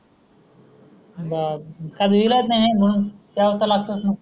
बापरे त्याला इलाज नाही म्हणून प्याव त लागतेच न